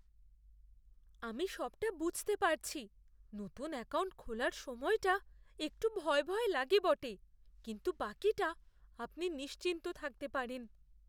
আমি সবটা বুঝতে পারছি। নতুন অ্যাকাউন্ট খোলার সময়টা একটু ভয় ভয় লাগে বটে, কিন্তু বাকিটা আপনি নিশ্চিন্ত থাকতে পারেন।